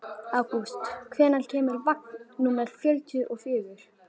Ágúst, hvenær kemur vagn númer fjörutíu og fjögur?